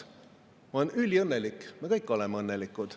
Ma olen üliõnnelik, me kõik oleme õnnelikud.